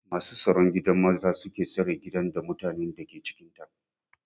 Masu staron gidan maza suke stare gidan, da mutanen dake cikinta.